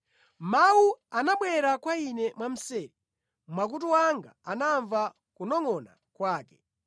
“Mawu anabwera kwa ine mwamseri, makutu anga anamva kunongʼona kwake.